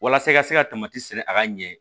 Walasa i ka se ka sɛnɛ a ka ɲɛ